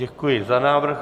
Děkuji za návrh.